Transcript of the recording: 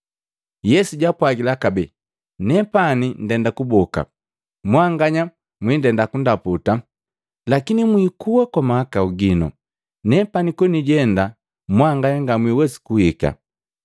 Yesu jaapwagila kabee, “Nepani ndenda kuboka, mwanganya mwindenda kundaputa, lakini mwikua kwa mahakau gino. Nepani konijenda mwanganya ngamwiwesi kuhika.”